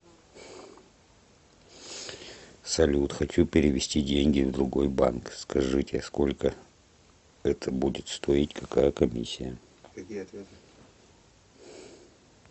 салют хочу перевести деньги в другой банк скажите сколько это будет стоить какая комиссия